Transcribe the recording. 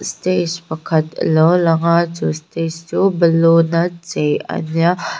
stage pakhat a lo lang a chu stage chu ballon a chei a nia--